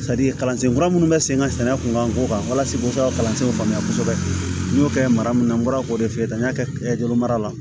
kalansen kura minnu be sen ŋa sɛnɛ kun kan ko kan walasa k'o kɛ ka kalansenw faamuya kosɛbɛ n'i y'o kɛ mara mun na n bɔra k'o de f'i ye tan n y'a kɛ jogomara la